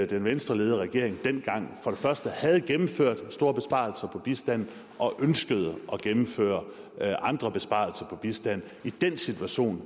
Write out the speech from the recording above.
den venstreledede regering dengang for det første havde gennemført store besparelser på bistanden og ønskede at gennemføre andre besparelser på bistand i den situation